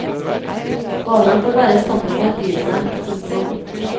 Barna får være sammen med dyrene. punktum